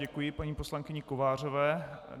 Děkuji paní poslankyni Kovářové.